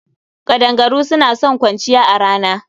Ƙadangaru suna son kwanciya a rana.